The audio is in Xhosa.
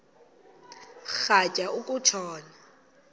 rhatya uku tshona